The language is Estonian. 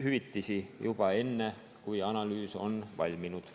hüvitisi kärpima juba enne, kui analüüs on valminud?